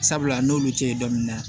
Sabula n'olu tɛ ye dɔɔnin na